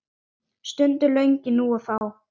Sungin lögin nú og þá.